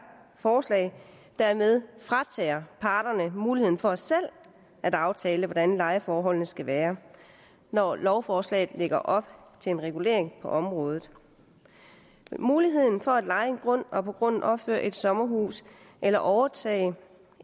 forslag dermed fratager parterne muligheden for selv at aftale hvordan lejeforholdet skal være når lovforslaget lægger op til en regulering på området muligheden for at leje en grund og på grunden opføre et sommerhus eller overtage